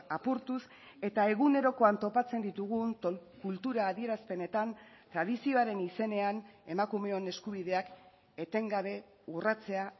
apurtuz eta egunerokoan topatzen ditugun kultura adierazpenetan tradizioaren izenean emakumeon eskubideak etengabe urratzea